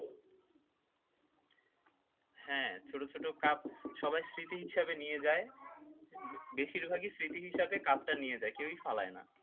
হ্যাঁ ছোট ছোট কাপ সবাই স্মৃতি হিসেবে নিয়ে যায় বেশিরভাগই স্মৃতি হিসেবে কাপটা নিয়ে যাই কেউ ফেলায় না।